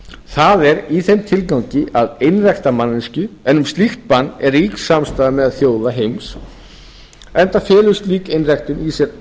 það er í þeim tilgangi að einrækta manneskju en um slíkt bann er rík samstaða meðal þjóða heims enda felur slík einræktun í sér